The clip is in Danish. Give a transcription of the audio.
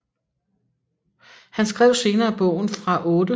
Han skrev senere bogen Fra 8